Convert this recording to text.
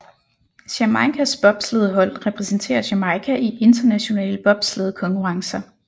Jamaicas bobslædehold repræsenterer Jamaica i internationale bobslædekonkurrencer